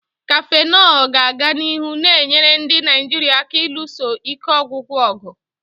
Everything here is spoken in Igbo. Cafenol ga-aga n'ihu na-enyere ndị Naijiria aka ịlụso ike ọgwụgwụ ọgụ.